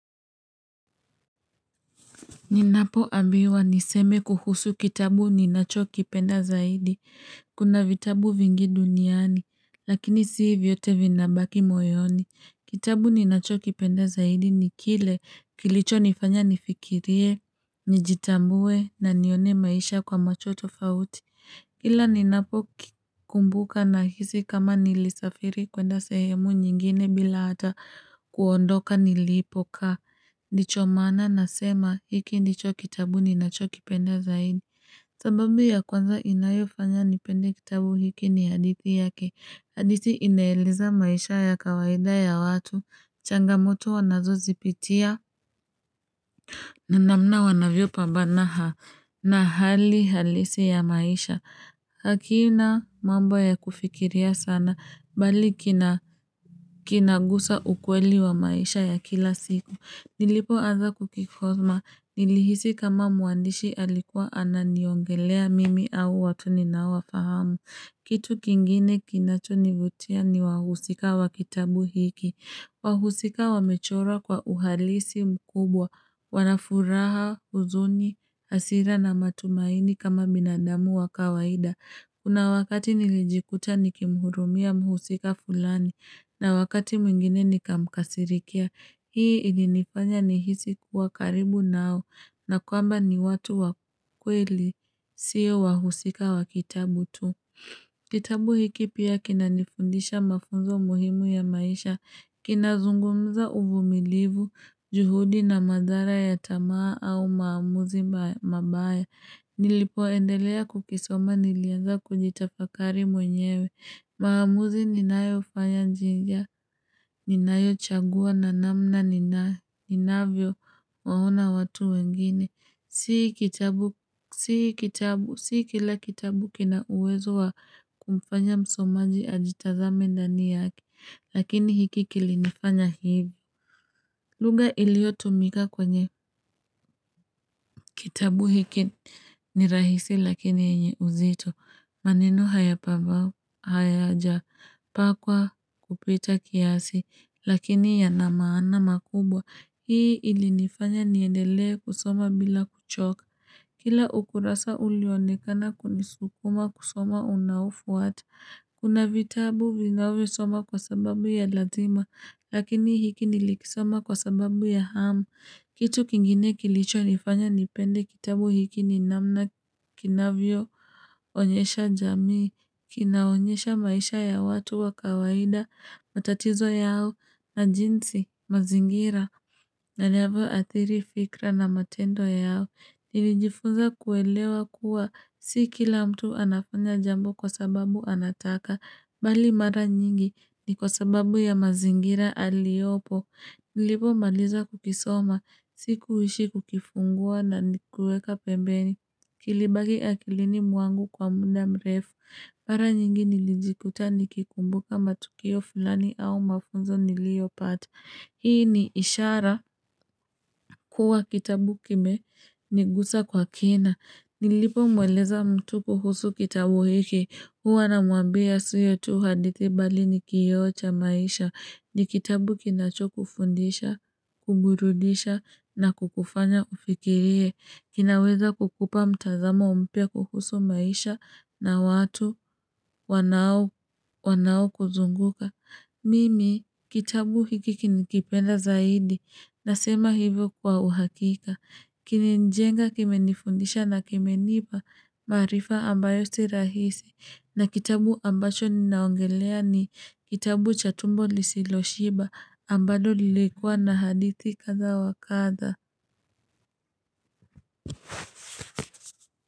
Ninapo ambiwa niseme kuhusu kitabu ni nacho kipenda zaidi. Kuna vitabu vingi duniani, lakini sii vyote vinabaki moyoni. Kitabu ni nacho kipenda zaidi ni kile kilicho nifanya nifikirie, nijitambue na nione maisha kwa macho tofauti. Kila ninapo kumbuka na hizi kama nilisafiri kwenda sehemu nyingine bila ata kuondoka nilipokaa. Ndicho maana na sema hiki ndicho kitabu ni nacho kipenda zaidi. Sababu ya kwanza inayofanya nipende kitabu hiki ni hadithi yake. Hadithi inaeleza maisha ya kawaida ya watu. Changamoto wanazosipitia. Na namna wanavyo pabambana na hali halisi ya maisha. Hakina mambo ya kufikiria sana bali kinaguza ukweli wa maisha ya kila siku. Nilipo anza kukikosoma, nilihisi kama muandishi alikuwa ana niongelea mimi au watu ninawa fahamu. Kitu kingine kinachonivutia ni wahusika wa kitabu hiki. Wahusika wamechora kwa uhalisi mkubwa, wanafuraha husuni, hasira na matumaini kama binadamu wa kawaida. Kuna wakati nilijikuta nikimhurumia mhusika fulani, na wakati mwingine nikamkasirikia. Hii ili nifanya ni hisi kuwa karibu nao na kwamba ni watu wa kweli sio wahusika wa kitabu tu. Kitabu hiki pia kina nifundisha mafunzo muhimu ya maisha. Kinazungumza uvumilivu, juhudi na madhara ya tamaa au maamuzi mabaya. Nilipoendelea kukisoma nilianza kujitafakari mwenyewe. Maamuzi ninayo fanya njigia, ninayo chagua na namna ninavyo ona watu wengine. Sii kitabu, sii kila kitabu kina uwezo wa kumfanya msomaji ajitazame ndani yake, lakini hiki kilifanya hivi. Lugha iliyo tumika kwenye kitabu hiki ni rahisi lakini yenye uzito. Maneno hayapavao hayaja pakwa kupita kiasi lakini yanamaana makubwa. Hii ili nifanya niendele kusoma bila kuchoka. Kila ukurasa ulionekana kunisukuma kusoma unaufu watu. Kuna vitabu vinawe soma kwa sababu ya lazima lakini hiki nilikisoma kwa sababu ya hamu. Kitu kingine kilicho nifanya nipende kitabu hiki ni namna kinavyo, onyesha jamii, kinaonyesha maisha ya watu wa kawaida, matatizo yao, na jinsi, mazingira. Inavyo adhiri fikra na matendo yao, nilijifunza kuelewa kuwa, si kila mtu anafanya jambo kwa sababu anataka, bali mara nyingi ni kwa sababu ya mazingira aliopo. Nilipo maliza kukisoma. Sikuishi kukifungua na nikuweka pembeni. Kilibaki akilini mwangu kwa muda mrefu. Mara nyingi nilijikuta nikikumbuka matukio fulani au mafunzo nilio pata. Hii ni ishara kuwa kitabu kime niguza kwa kina. Nilipo mweleza mtu kuhusu kitabu hiki. Huwa na mwambia sio tu hadithi bali ni kioo cha maisha. Ni kitabu kinacho kufundisha, kuburudisha na kukufanya ufikirie. Kinaweza kukupa mtazamo umpya kuhusu maisha na watu wanao kuzunguka. Mimi, kitabu hiki kini kipenda zaidi, nasema hivyo kwa uhakika, kinimejenga kime nifundisha na kime nipa, maarifa ambayo si rahisi, na kitabu ambacho ninaongelea ni kitabu cha tumbo lisilo shiba ambayo lilikua na hadithi kadha wa kadhaa.